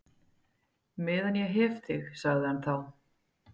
Meðan ég hef þig sagði hann þá.